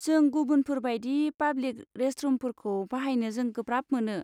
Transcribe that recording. जों गुबुनफोर बायदि पाब्लिक रेस्टरुमफोरखौ बाहायनो जों गोब्राब मोनो।